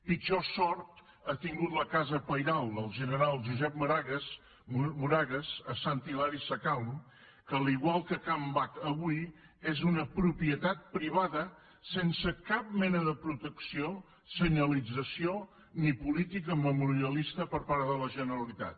pitjor sort ha tingut la casa pairal del general josep moragues a sant hilari sacalm que igual que can bac avui és una propietat privada sense cap mena de protecció senyalització ni política memorialista per part de la generalitat